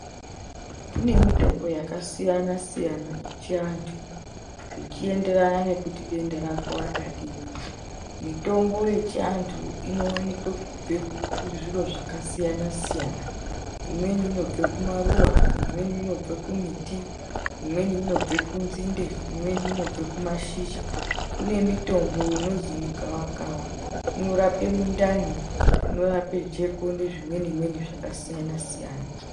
Kune mitombo yakasiyana siyana yechi antu, zvichi enderana nekuti denda rako rakadii. Mitombo yechiantu inowanikwe kubve kuzviro zvakasiyana siyana. Imweni inobve kumaruwa, imweni inobve kumiti, imweni inobve kudzinde, imweni kumashizha. Kune mitombo inonzi mugavakava inorape mundani, inorape jeko nezvimweni mweni zvaka siyana siyana.